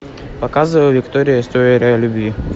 показывай виктория история любви